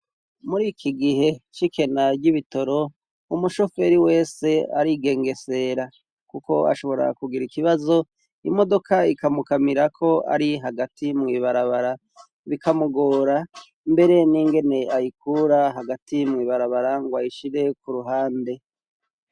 Muri iki gihe cikena ry'ibitoro umushoferi wese arigengesera kuko ashobora kugira ikibazo imodoka ikamukamira ko ari hagati mu ibarabara bikamugora mbere n'ingene ayikura hagati mwibarabara ngo ayishire ku ruhande.